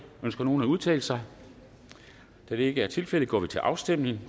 ønsker nogen at udtale sig da det ikke er tilfældet går vi til afstemning